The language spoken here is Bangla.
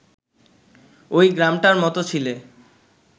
ওই গ্রামটার মত ছিলে